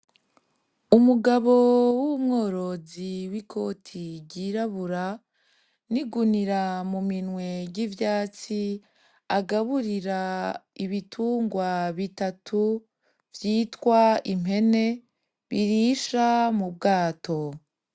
Umugabo w'umworozi w'ikoti ryirabura n'igunira mu minwe ry'ivyatsi agaburira ibitungwa bitatu vyitwa impene birisha mu bwato.